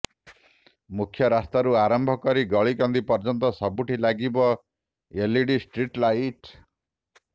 ମୁଖ୍ୟ ରାସ୍ତାରୁ ଆରମ୍ଭ କରି ଗଳିକନ୍ଦି ପର୍ଯ୍ୟନ୍ତ ସବୁଠି ଲାଗିବ ଏଲ୍ଇଡି ଷ୍ଟ୍ରିଟ୍ ଲାଇଟ୍